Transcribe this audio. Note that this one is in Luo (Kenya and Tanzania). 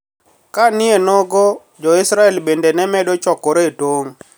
Ka nienogo Jolwenj Israel bende ne medo chokre e tong`